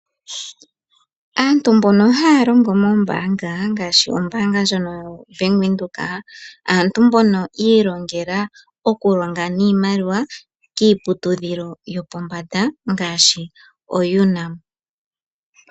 Aantu mbono haya longo mombaanga ngaashi ombaanga ndjono yo Bank Widhoek, aantu mbono ya ilongela okulonga niimaliwa kiiputudhilo yopombanda ngaashi oUNAM.